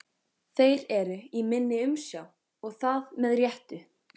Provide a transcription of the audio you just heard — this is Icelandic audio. Þeir eru í minni umsjá og það með réttu.